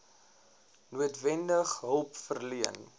noodwendig hulp verleen